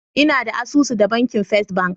Ina da asusu da banki First bank.